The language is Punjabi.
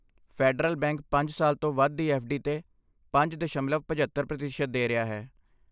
ਫੈਡਰਲ ਬੈਂਕ ਪੰਜ ਸਾਲ ਤੋਂ ਵੱਧ ਦੀ ਐੱਫ਼.ਡੀ. 'ਤੇ ਪੰਜ ਦਸ਼ਮਲਵ ਪਝੱਤਰ ਪ੍ਰਤੀਸ਼ਤ ਦੇ ਰਿਹਾ ਹੈ